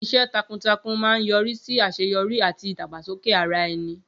Iṣẹ́ takuntakun máa ń yọrí sí àṣeyọrí àti ìdàgbàsókè ara ẹni.